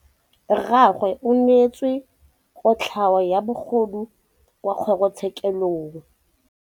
Rragwe o neetswe kotlhaô ya bogodu kwa kgoro tshêkêlông.